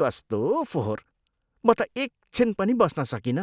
कस्तो फोहोर! म त एकछिन पनि बस्न सकिनँ।